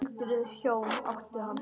Öldruð hjón áttu hann.